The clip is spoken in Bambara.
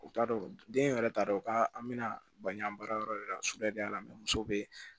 U t'a dɔn den yɛrɛ t'a dɔn k'a an bɛna baɲan baarayɔrɔ de la su y'a la muso be